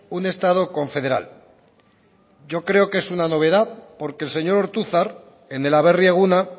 un estado confederal yo creo que es una novedad porque el señor ortuzar en el aberri eguna